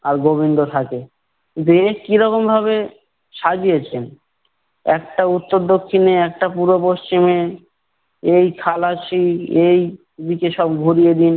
আর গোবিন্দ থাকে। কিন্তু এ কিরকম ভাবে সাজিয়েছেন? একটা উত্তর দক্ষিণে একটা পূর্ব পশ্চিমে এই এই দিকে সব ঘুরিয়ে দিন।